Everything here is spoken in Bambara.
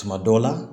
Tuma dɔw la